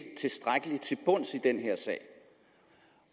tilstrækkelig til bunds i den her sag